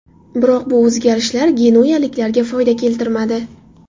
Biroq bu o‘zgarishlar genuyaliklarga foyda keltirmadi.